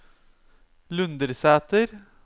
Lundersæter